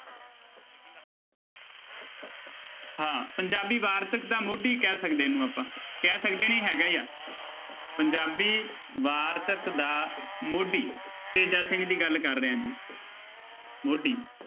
ਹਾਂ ਪੰਜਾਬੀ ਵਾਰਤਕ ਦਾ ਮੋਢੀ ਕਹਿ ਸਕਦੇ ਹਾਂ ਇਹਨੂੰ ਆਪਾਂ ਕਹਿ ਸਕਦੇ ਨੀ ਹੈਗਾ ਹੀ ਆ ਪੰਜਾਬੀ ਵਾਰਤਕ ਦਾ ਮੋਢੀ ਤੇਜਾ ਸਿੰਘ ਦੀ ਗੱਲ ਕਰ ਰਿਹਾਂ ਜੀ ਮੋਢੀ